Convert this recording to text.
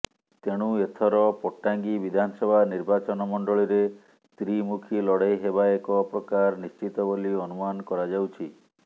ତେଣୁ ଏଥର ପଟାଙ୍ଗୀ ବିଧାନସଭା ନିର୍ବାଚନମଣ୍ଡଳୀରେ ତ୍ରିମୁଖୀ ଲଢେଇ ହେବା ଏକ ପ୍ରକାର ନିଶ୍ଚିତ ବୋଲି ଅନୁମାନ କରାଯାଉଛି